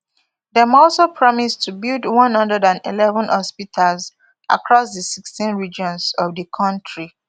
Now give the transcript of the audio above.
dem also promise to build one hundred and eleven hospitals across di sixteen regions of di kontri